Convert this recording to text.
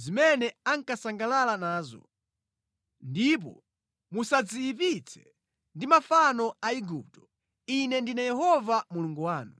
zimene ankasangalala nazo, ndipo musadziyipitse ndi mafano a Igupto, Ine ndine Yehova Mulungu wanu.’